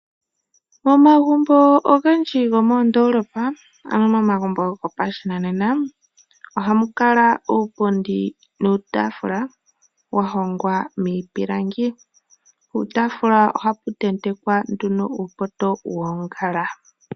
Momagumbo ogendji gomoondoolopa, ano momagumbo gopashinanena ohamu kala uupundi nuutaafula wa hongwa miipilangi. Puutaafula ohapu tentekwa nduno uupoto woongala.